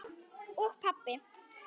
og pabbi.